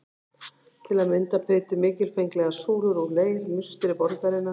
Til að mynda prýddu mikilfenglegar súlur úr leir musteri borgarinnar.